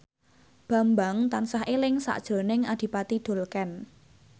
Bambang tansah eling sakjroning Adipati Dolken